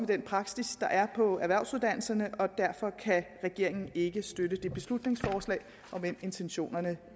den praksis der er på erhvervsuddannelserne derfor kan regeringen ikke støtte det beslutningsforslag om end intentionerne